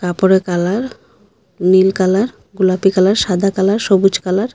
উপরে কালার নীল কালার গোলাপি কালার সাদা কালার সবুজ কালার ।